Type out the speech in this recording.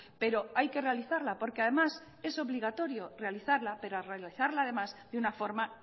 pero hay que realizarla porque además es obligatorio realizarla pero realizarla además de una forma